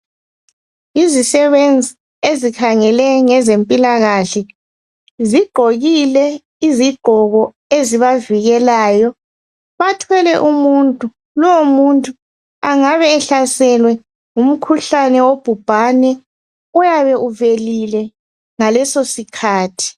Yizisebenzi ezikhangele ngezempilakahle. Zigqokile izigqoko ezibavikelayo. Bathwele umuntu, lowo muntu angabe ehlaselwe ngumkhuhlane wobhubhane oyabe uvelile ngaleso sikhathi.